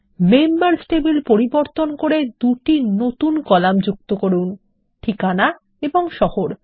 members table পরিবর্তন করে দুটি নতুন কলাম যুক্ত করুন ঠিকানা ও শহর